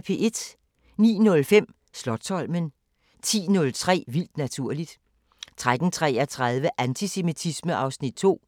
09:05: Slotsholmen 10:03: Vildt naturligt 13:33: Antisemitisme (Afs. 2)